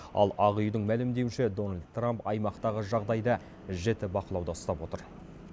ал ақ үйдің мәлімдеуінше дональд трамп аймақтағы жағдайды жіті бақылауда ұстап отыр